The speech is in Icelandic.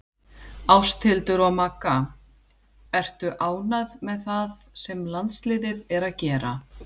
Ásthildur og Magga Ertu ánægð með það sem landsliðið er að gera?